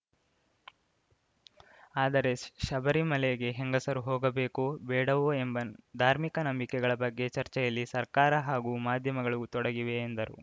ಆದರೆ ಶಬರಿಮಲೆಗೆ ಹೆಂಗಸರು ಹೋಗಬೇಕೋ ಬೇಡವೋ ಎಂಬ ಧಾರ್ಮಿಕ ನಂಬಿಕೆಗಳ ಬಗ್ಗೆ ಚರ್ಚೆಯಲ್ಲಿ ಸರ್ಕಾರ ಹಾಗೂ ಮಾಧ್ಯಮಗಳು ತೊಡಗಿವೆ ಎಂದರು